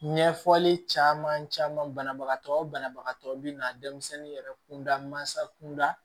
Ɲɛfɔli caman caman banabagatɔ o banabagatɔ bɛ na denmisɛnnin yɛrɛ kunda mansa kunda